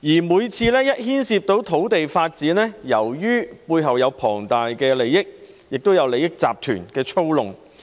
每當牽涉土地發展，背後都涉及龐大利益，有利益集團操弄。